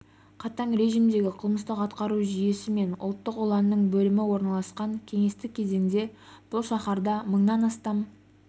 қатаң режимдегі қылмыстық атқару жүйесі мен ұлттық ұланның бөлімі орналасқан кеңестік кезеңде бұл шаһарда мыңнан астам